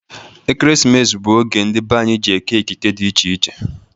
Ekeresimesi bụ oge ndị be anyị jị eke ekike dị iche iche.